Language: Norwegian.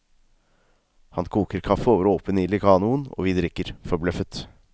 Han koker kaffe over åpen ild i kanoen, og vi drikker, forbløffet.